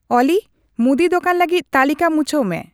ᱚᱞᱤ ᱢᱩᱫᱤ ᱫᱚᱠᱟᱱ ᱞᱟᱹᱜᱤᱫ ᱛᱟᱞᱤᱠᱟ ᱢᱩᱪᱟᱹᱣ ᱢᱮ